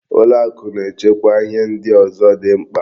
Ụlọakụ na-echekwa ihe ndị ọzọ dị mkpa.